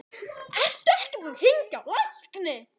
Ertu ekki búinn að hringja á lækni?